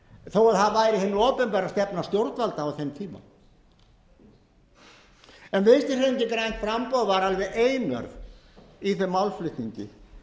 þó að það væri hin opinbera stefna stjórnvalda á þeim tíma en vinstri hreyfingin grænt framboð var alveg einörð í þeim málflutningi